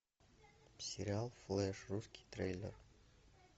сериал флеш русский трейлер